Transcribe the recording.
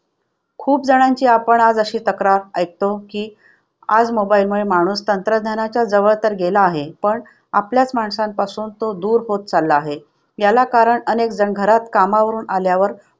खूप जणांची आपण आज अशी तक्रार ऐकतो की आज mobile मुळे माणूस तंत्रज्ञानाच्या जवळ तर गेला आहे पण आपल्याच माणसांपासून तो दूर होत चालला आहे. याला कारण अनेक जण घरात कामावरून आल्यावर